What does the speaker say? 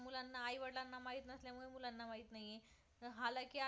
माहीत नाहीये तर हालाकी आज काल